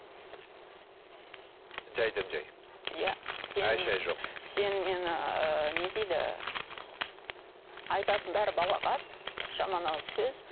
жайдан жай иә ай шай жоқ сен мені ыыы не дейді айтатыны бәрі балағат жаман ауыз сөз